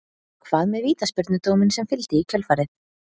Hvað með vítaspyrnudóminn sem fylgdi í kjölfarið?